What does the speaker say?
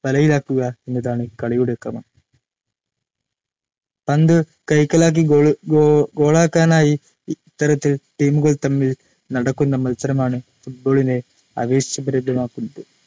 പന്തു വലയിലാക്കുക എന്നതാണ് കളിയുടെ ക്രമം‌. പന്തു കൈക്കലാക്കി ഗോളാക്കാനായി ഇത്തരത്തിൽ ടീമുകൾ തമ്മിൽ നടക്കുന്ന മത്സരമാണ്‌ ഫുട്ബോളിനെ ആവേശഭരിതമാക്കുന്നത്‌.